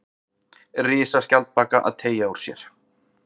Risaskjaldbaka að teygja úr sér.